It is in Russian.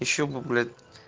ещё бы блять